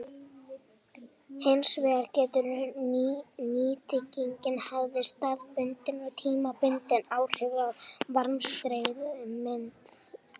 Hins vegar getur nýtingin haft staðbundin og tímabundin áhrif á varmastreymið.